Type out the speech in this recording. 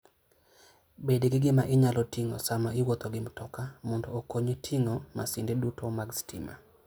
Bed gi gima inyalo ting'o sama iwuotho gi mtoka mondo okonyi ting'o masinde duto mag stima.